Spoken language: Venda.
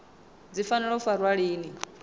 dzi fanela u farwa lini